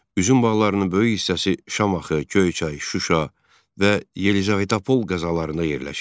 Üzüm bağlarının böyük hissəsi Şamaxı, Göyçay, Şuşa və Yelizavetpol qəzalarında yerləşirdi.